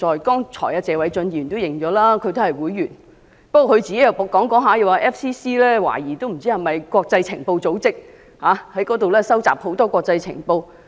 剛才謝偉俊議員也承認他是該會會員，但他發言後期卻表示懷疑香港外國記者會是國際情報組織，在本港收集國際情報。